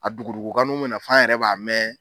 A dogo dogokaninw mɛ na fɔ an yɛrɛ b'a mɛn.